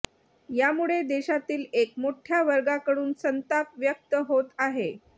यामुळे देशातील एक मोठ्या वर्गाकडून संताप व्यक्त होत आहे